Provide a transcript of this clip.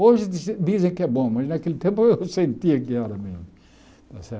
Hoje dizi dizem que é bom, mas naquele tempo eu sentia que era mesmo. Está certo